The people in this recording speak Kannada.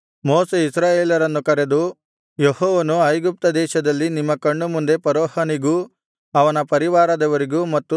ಮೋಶೆ ಇಸ್ರಾಯೇಲರನ್ನು ಕರೆದು ಯೆಹೋವನು ಐಗುಪ್ತದೇಶದಲ್ಲಿ ನಿಮ್ಮ ಕಣ್ಣುಮುಂದೆ ಫರೋಹನಿಗೂ ಅವನ ಪರಿವಾರದವರಿಗೂ ಮತ್ತು